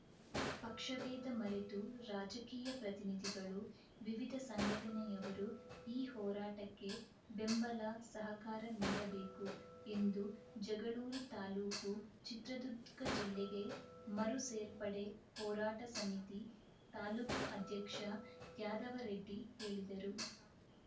ಪಕ್ಷಭೇದ ಮೆರತು ರಾಜಕೀಯ ಪ್ರತಿನಿಧಿಗಳು ವಿವಿಧ ಸಂಘಟನೆಯವರು ಈ ಹೋರಾಟಕ್ಕೆ ಬೆಂಬಲ ಸಹಕಾರ ನೀಡಬೇಕು ಎಂದು ಜಗಳೂರು ತಾಲೂಕು ಚಿತ್ರದುರ್ಗ ಜಿಲ್ಲೆಗೆ ಮರು ಸೇರ್ಪಡೆ ಹೋರಾಟ ಸಮಿತಿ ತಾಲೂಕು ಅಧ್ಯಕ್ಷ ಯಾದವರೆಡ್ಡಿ ಹೇಳಿದರು